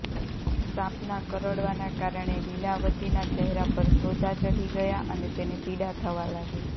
સાંપના કરડવાના કારણે લીલાવતીના ચહેરા પર સોજા ચઢી ગયા અને તેને પીડા થવા લાગી